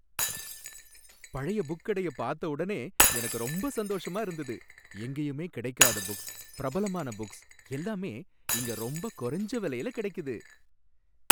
பழைய புக் கடைய பார்த்த உடனே எனக்கு ரொம்ப சந்தோஷமா இருந்தது. எங்கேயுமே கிடைக்காத புக்ஸ், பிரபலமான புக்ஸ் எல்லாமே இங்க ரொம்ப குறஞ்ச விலையில கிடைக்குது.